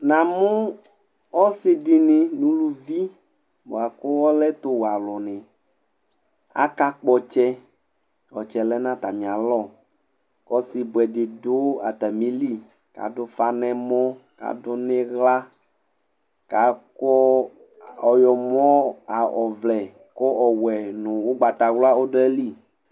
Namu ɔsidini nu uluvi buaku ale ɛtu wuɛ aluni akakpɔ ɔtsɛ ɔtsɛ le nu atamie alɔ ku ɔsibuɛdi du atamili aɖu ufa nɛmɔ kadu niɣla ku ɔɣomɔ ɔvlɛ nu ogbatawla ɔdu ayili